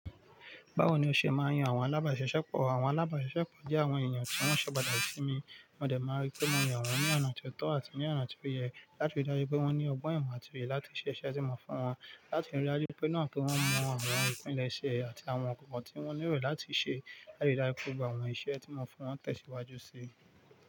Báwo ni o ṣe máa ń yan àwọn alábàáṣeṣẹ́pọ̀? Àwọn alábàáṣeṣẹ́pọ̀ jẹ́ àwọn èèyàn tí wọ́n ṣọ̀bàdàn sí mi. Mo dẹ̀ máa rí pé mo yan wọ́n ní ọ̀nà tó tọ́ àti ní ọ̀nà tó yẹ láti rí i dájú pé wọ́n ní ọgbọ́n, imo àti òye láti ṣe iṣẹ́ tí mo fún wọn, yáti rí i dájú pé náà kí wọ́n mọ àwọn ìpínlẹ̀ iṣẹ́ àti àwọn kòkò tí wọ́n nílò láti ṣe láti ri dára agn7 gba àwọn iṣẹ́ tí mo fún wọn tẹ̀síwájú sí.